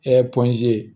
pɔnze